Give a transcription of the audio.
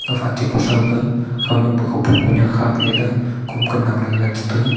gafa ate ku thow ke khawnek pe khupong kunek khak le lah kom toh naw le chi taiga.